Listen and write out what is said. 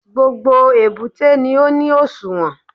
Gbogbo èbúté ni ó ní òṣùwọ̀n